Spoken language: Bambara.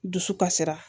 Dusu kasira